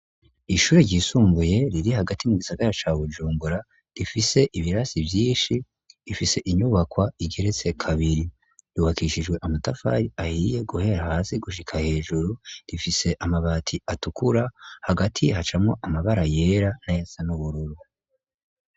Ishuri ryisumbuye riri hagati mu gisagara ca bujungura rifise ibirasi vyinshi ifise inyubakwa igeretse kabiri ruhakishijwe amatafari ahiye guhera hasi gushika hejuru rifise amabati atukura hagati hacamwo amabara yera na yasa n'ubururu.